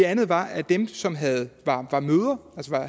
anden var at dem som havde